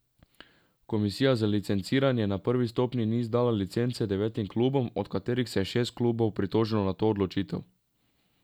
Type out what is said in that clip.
Komisija za licenciranje na prvi stopnji ni izdala licence devetim klubom, od katerih se je šest klubov pritožilo na to odločitev.